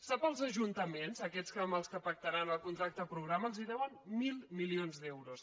sap els ajuntaments aquests amb què pactaran el contracte programa els deuen mil milions d’euros